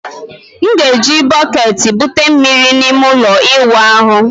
M ga-eji bọketi bute mmiri na ime ụlọ ịwụ ahụ.